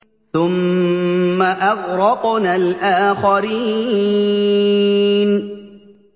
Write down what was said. ثُمَّ أَغْرَقْنَا الْآخَرِينَ